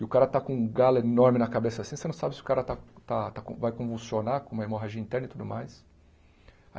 E o cara está com um galo enorme na cabeça assim, você não sabe se o cara está está vai convulsionar com uma hemorragia interna e tudo mais.